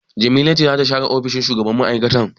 Jamila ce za ta share ofishin shugaban mai'aikatan.